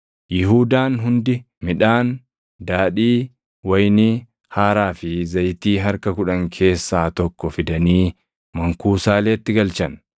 Yihuudaan hundi midhaan, daadhii wayinii haaraa fi zayitii harka kudhan keessaa tokko fidanii mankuusaaleetti galchan.